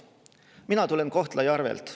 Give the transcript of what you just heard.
Mina tulen Kohtla-Järvelt.